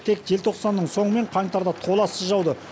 тек желтоқсанның соңы мен қаңтарда толассыз жауды